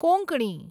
Konkani